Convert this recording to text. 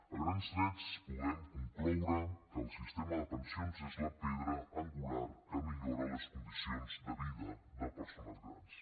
a grans trets podem concloure que el sistema de pensions és la pedra angular que millora les condicions de vida de persones grans